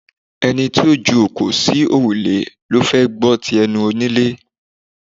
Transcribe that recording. Ẹni tó ju òkò sí òrùlé ló fẹ́ gbọ́ ti ẹnu onílé